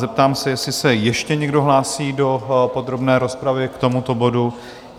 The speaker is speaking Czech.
Zeptám se, jestli se ještě někdo hlásí do podrobné rozpravy k tomuto bodu?